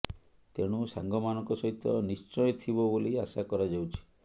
ତେଣୁ ସାଙ୍ଗ ମାନଙ୍କ ସହିତ ନିଶ୍ଚୟ ଥିବ ବୋଲି ଆଶା କରାଯାଉଛି